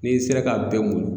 N'i sera ka bɛɛ mun